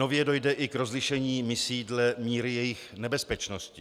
Nově dojde i k rozlišení misí dle míry jejich nebezpečnosti.